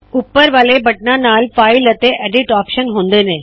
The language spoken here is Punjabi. ਉੱਪਰ ਵਾਲੇ ਬਟਨਾ ਨਾਲ ਫਾਇਲ ਅਤੇ ਐਡਿਟ ਆਪਰੇਸ਼ਨ ਹੁੰਦੇ ਨੇ